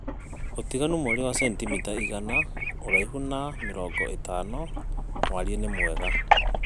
ũtaganũ mwarĩĩ wa sentĩmĩta ĩgana ũraĩhũ na mĩrongo ĩtano warĩĩ nĩ mwega